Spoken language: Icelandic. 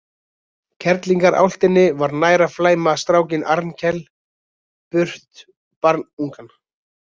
Kerlingarálftinni var nær að flæma strákinn Arnkel burt barnungan.